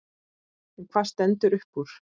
En hvað stendur uppúr?